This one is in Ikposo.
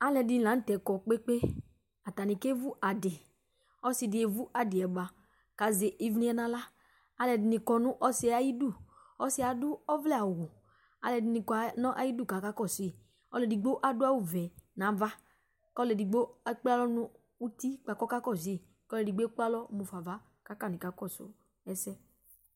Alʋɛdɩnɩ la nʋ tɛ kɔ kpe-kpe-kpe, atanɩ kevu adɩ Ɔsɩ dɩ evu adɩ yɛ ba kʋ azɛ ɩvlɩ yɛ nʋ aɣla Alʋɛdɩnɩ kɔ nʋ ɔsɩ yɛ ayidu Ɔsɩ yɛ adʋ ɔvlɛawʋ, Alʋɛdɩnɩ kɔ nʋ ayidu kʋ akakɔsʋ yɩ Ɔlʋ edigbo adʋ awʋvɛ nʋ ava, ɔlʋ edigbo ekpe alɔ nʋ utikpǝ kʋ ɔkakɔsʋ yɩ kʋ ɔlʋ edigbo ekpe alɔ mu fa ava kʋ atanɩ kakɔsʋ ɛsɛ